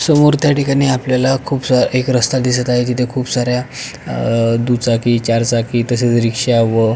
समोर त्या ठिकाणी आपल्याला खूप सारा एक रस्ता दिसत आहे तिथे खूप साऱ्या दुचाकी चारचाकी तसेच रिक्षा व--